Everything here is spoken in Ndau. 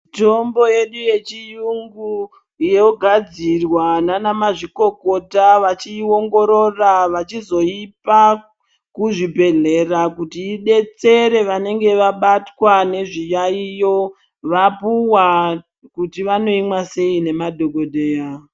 Tombo yedu yevhiyungu yogadzirwa nanamazvikokota vachiongorora vachizoipa kuzvibhedhlera kuti idetsera vanenge vabatwa nezviyaiyo vapuwa kuti vanoimwa sei nemadhokodheya.